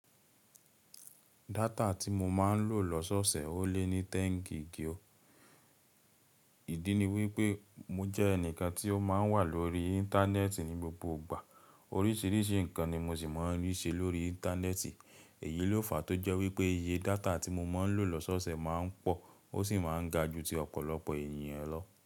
Data tí mo máa ń lò lọ́sọ́ọ̀ọ̀sẹ̀ ó lé ní téǹgì igi o. Ìdí ni wípé mo jẹ́ ẹnìkan tí ó máa ń wà lórí Íńtánẹ́ẹ̀tì ní gbogbo ìgbà. Oríṣìíríṣìí nǹkan ni mo sì máa ń rí ṣe lórí Íńtánẹ́ẹ̀tì. Èyí ló fà tó jẹ́ wípé iye data tí mo máa ń lò lọ́sọ́ọ̀ọ̀sẹ̀ máa ń pọ̀ ó sì máa ń ga ju ti ọ̀pọ̀lọpọ̀ ènìyàn lọ.